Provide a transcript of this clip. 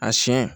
A siɲɛ